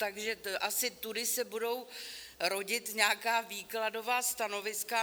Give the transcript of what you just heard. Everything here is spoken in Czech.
Takže asi tudy se budou rodit nějaká výkladová stanoviska.